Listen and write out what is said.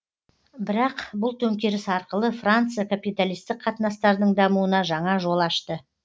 бірақ бұл төңкеріс арқылы франция капиталистік қатынастардың дамуына жаңа жол ашты